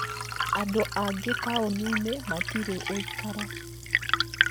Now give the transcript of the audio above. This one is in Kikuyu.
Andũ angĩ taũni-inĩ matirĩ ũikaro